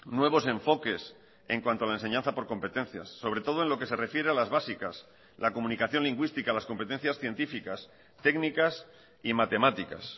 nuevos enfoques en cuanto a la enseñanza por competencias sobre todo en lo que se refiere a las básicas la comunicación lingüística las competencias científicas técnicas y matemáticas